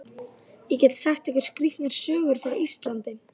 Ég get sagt ykkur skrýtnar sögur frá Íslandi.